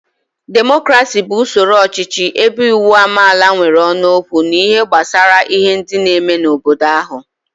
Demokrasi bu usoro ọchịchị ebe uwu amaala nwere ónu okwu n'ihe gbasara ihe ndi n'eme n'obodo ahu